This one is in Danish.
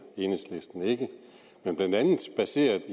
enhedslisten ikke blandt andet baseret